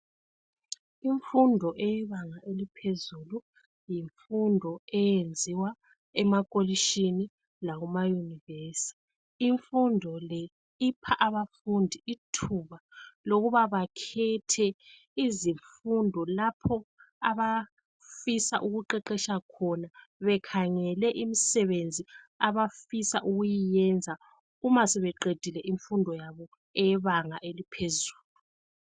Imfundo eyebanga eliphezulu yimfundo eyenziwa emakolitshini lakuma Yunivesi. Imfundo le ipha abafundi ithuba lokuba bakhethe izifundo lapho abafisa ukuqeqetsha khona bekhangele imisebenzi abafisa ukuyiyenza uma sebeqedile imfundo yabo eyebanga eliphezulu.